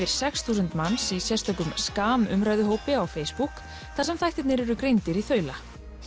sex þúsund manns í sérstökum umræðuhópi á Facebook þar sem þættirnir eru greindir í þaula